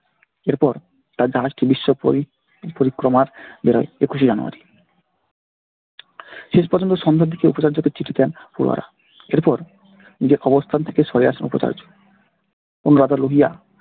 এরপর তার জাহাজটি বিশ্ব পরি পরিক্রমার বেরোয় একুশে january । শেষ পর্যন্ত সন্ধ্যের দিকে উপাচার্যকে চিঠি দেন । এর পর নিজের অবস্থান থেকে সরে আসেন উপাচার্য। অনুরাধা